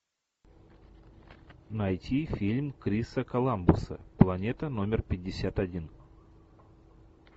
найти фильм криса коламбуса планета номер пятьдесят один